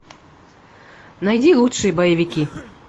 найди лучшие боевики